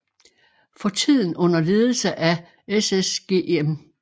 For tiden under ledelse af SSG M